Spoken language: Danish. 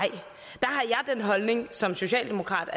er det min holdning som socialdemokrat